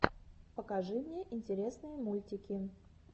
покажи мне интересные мультики